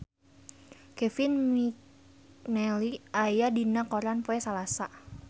Kevin McNally aya dina koran poe Salasa